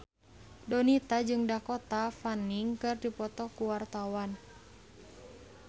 Donita jeung Dakota Fanning keur dipoto ku wartawan